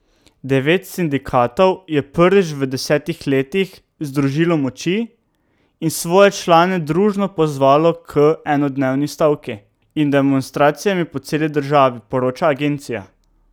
Devet sindikatov je prvič v desetih letih združilo moči in svoje člane družno pozvalo k enodnevni stavki in demonstracijam po celi državi, poroča agencija.